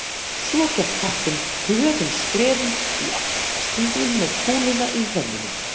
Svo gekk kappinn hröðum skrefum í átt að kasthringnum með kúluna í hrömmunum.